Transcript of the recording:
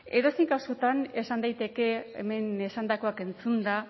edozein kasutan esan daiteke hemen esandakoak entzunda